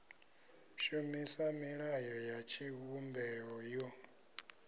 shumisa milayo ya tshivhumbeo yo